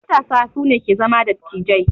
Matasa su ne ke zama dattijai.